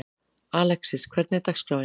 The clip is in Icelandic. Alexis, hvernig er dagskráin?